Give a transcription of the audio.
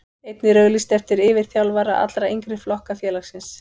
Einnig er auglýst eftir yfirþjálfara allra yngri flokka félagsins.